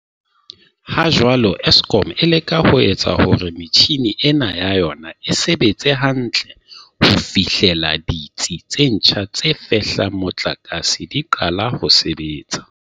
Ha jwale, Eskom e leka ho etsa hore metjhini ena ya yona e sebetse hantle ho fihlela ditsi tse ntjha tse fehlang motlakase di qala ho sebetsa.